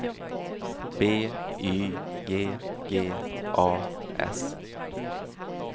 B Y G G A S